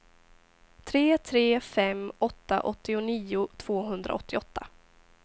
tre tre fem åtta åttionio tvåhundraåttioåtta